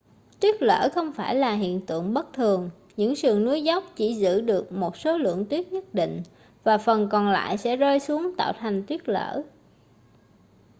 tuyết lở không phải là hiện tượng bất thường những sườn núi dốc chỉ giữ được một số lượng tuyết nhất định và phần còn lại sẽ rơi xuống tạo thành tuyết lở